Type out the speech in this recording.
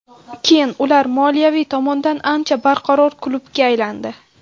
Keyin ular moliyaviy tomondan ancha barqaror klubga aylandi.